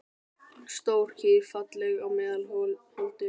Stór kýr, falleg í meðal holdum.